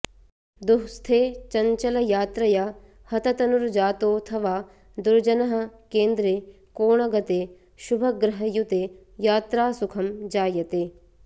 दुःस्थे चङ्चलयात्रया हततनुर्जातोऽथवा दुर्जनः केन्द्रे कोणगते शुभग्रहयुते यात्रासुखं जायते